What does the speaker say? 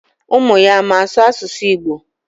Umuya ama asu asusu Igbo?